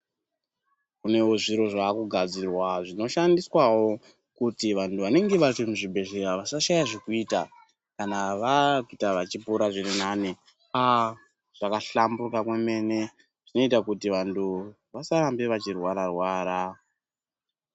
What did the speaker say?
Kunewo zviro zvaakugadzirwa zvinoshandiswawo, kuti vanthu vanenge vari muzvibhedhlera vasashaya zvekuita kana vakuita vachipora zviri nani. Aah! zvakahlamburika kwemene zvinoita kuti vanthu vasarambe vechirwara-rwara.